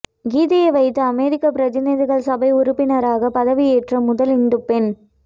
கீதையை வைத்து அமெரிக்க பிரதிநிதிகள் சபை உறுப்பினராக பதவியேற்ற முதல் இந்து பெண்